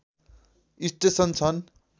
station छन्